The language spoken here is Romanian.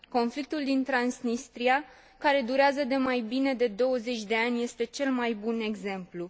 Conflictul din Transnistria, care durează de mai bine de 20 de ani, este cel mai bun exemplu.